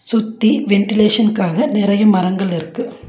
சுத்தி வென்டிலேஷனுக்காக நெறய மரங்கள் இருக்கு.